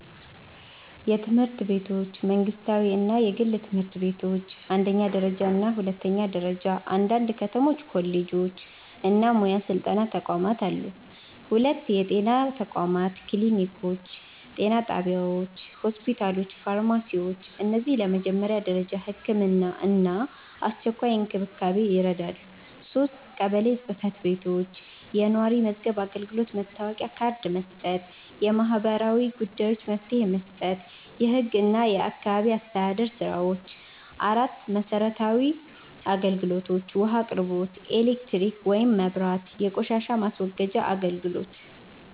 የትምህርት ቤቶች መንግስታዊ እና የግል ትምህርት ቤቶች አንደኛ ደረጃ እና ሁለተኛ ደረጃ አንዳንድ ከተሞች ኮሌጆች እና ሙያ ስልጠና ተቋማት አሉ 2. የጤና ተቋማት ክሊኒኮች ጤና ጣቢያዎች ሆስፒታሎች ፋርማሲዎች እነዚህ ለመጀመሪያ ደረጃ ሕክምና እና አስቸኳይ እንክብካቤ ይረዳሉ 3. ቀበሌ ጽ/ቤቶች የነዋሪ መዝገብ አገልግሎት መታወቂያ ካርድ መስጠት የማህበራዊ ጉዳዮች መፍትሄ መስጠት የህግ እና የአካባቢ አስተዳደር ስራዎች 4. መሰረታዊ አገልግሎቶች ውሃ አቅርቦት ኤሌክትሪክ (መብራት) የቆሻሻ ማስወገጃ አገልግሎት